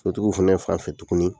Sotigiw fɛnɛ fan fɛ tuguni